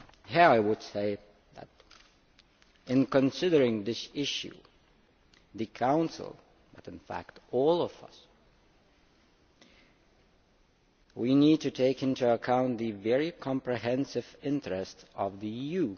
Here I would say that, in considering this issue, the Council, and in fact all of us, need to take into account the very comprehensive interest of the EU.